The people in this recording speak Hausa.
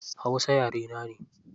Hausa yare na ne.